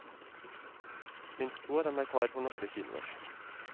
Minst to av dem er klar for norske kinoer.